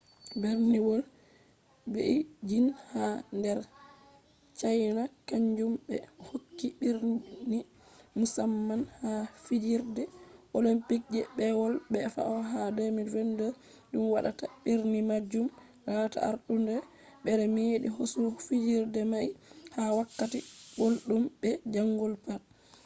berniwol beijing ha nder cayna kanjum ɓe hokki birni musamman ha fijirde olympic je peewol fe'ata ha 2022 ɗum watta birni majum lata artundere be meeɗi hosugo fijirde mai haa wakkati gulɗum be jangol pat